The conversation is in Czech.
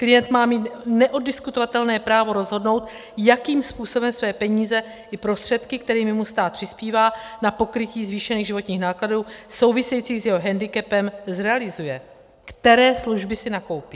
Klient má mít neoddiskutovatelné právo rozhodnout, jakým způsobem své peníze i prostředky, kterými mu stát přispívá na pokrytí zvýšených životních nákladů souvisejících s jeho hendikepem, zrealizuje, které služby si nakoupí.